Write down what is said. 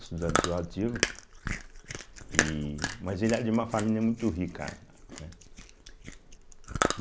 estudantil ativo, e mas ele era de uma família muito rica, né.